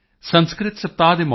ਮੈਂ ਇਸ ਲਈ ਤੁਹਾਡਾ ਧੰਨਵਾਦ ਕਰਦਾ ਹਾਂ